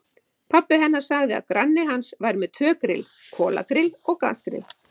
Pabbi hennar sagði að granni hans væri með tvö grill, kolagrill og gasgrill.